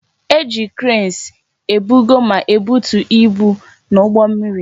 E ji kreensi ebugo ma na ebutu ibu n'ụgbọ mmiri